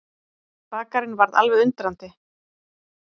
Bakarinn varð alveg undrandi.